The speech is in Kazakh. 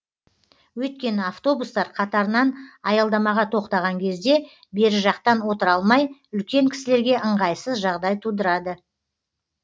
өйткені автобустар қатарынан аялдамаға тоқтаған кезде бері жақтан отыра алмай үлкен кісілерге ыңғайсыз жағдай тудырады